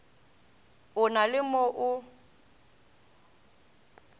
a na le mo a